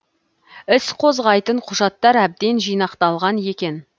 іс қозғайтын құжаттар әбден жинақталған екен